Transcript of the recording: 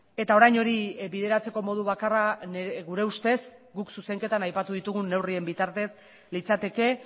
eta orain hori bideratzeko modu bakarra gure ustez guk zuzenketan aipatu ditugun neurrien bitartez litzateke